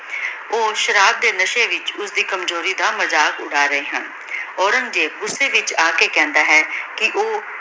ਊ ਸ਼ਰਾਬ ਦੇ ਨਾਸ਼ੀ ਵਿਚ ਓਸਦੀ ਕਮਜ਼ੋਰੀ ਦਾ ਮਜ਼ਾਕ਼ ਉਰ ਰਹੀ ਹਨ